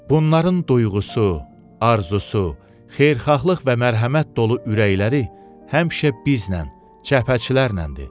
Bunların duyğusu, arzusu, xeyirxahlıq və mərhəmət dolu ürəkləri həmişə bizlə, cəbhəçilərləndir.